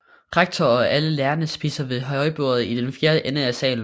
Rektor og alle lærerne spiser ved højbordet i den fjerne ende af salen